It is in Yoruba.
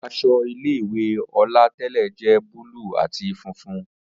Awọ aṣọ ile-iwe Ola tẹlẹ jẹ búlúù ati funfun.